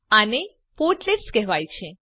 આને પોર્ટલેટ્સ કહેવાય છે